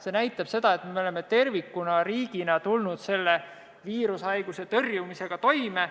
See näitab seda, et me oleme riigina tervikuna tulnud selle viirushaiguse tõrjumisega toime.